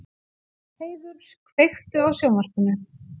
Heiður, kveiktu á sjónvarpinu.